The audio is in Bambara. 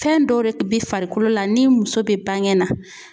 Fɛn dɔw de be farikolo la ni muso be baŋɛ na